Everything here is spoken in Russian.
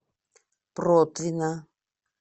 протвино